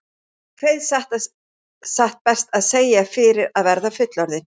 Kveið satt best að segja fyrir að verða fullorðinn.